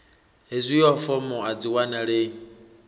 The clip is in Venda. hezwio fomo a dzi wanalei